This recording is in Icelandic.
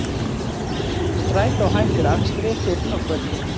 Strætó hættir akstri fyrr á kvöldin